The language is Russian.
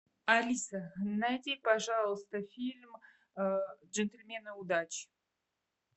алиса найди пожалуйста фильм джентльмены удачи